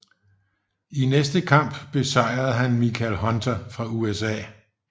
I næste kamp besejrede han Michael Hunter fra USA